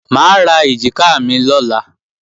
Mà á ra èjìká mi lọ́la